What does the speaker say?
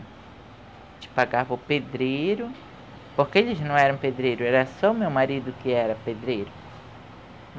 A gente pagava o pedreiro, porque eles não eram pedreiro, era só o meu marido que era pedreiro.